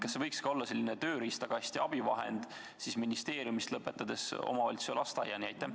Kas see võiks olla selline tööriistakast ja abivahend ministeeriumist omavalitsuse ning lasteaiani?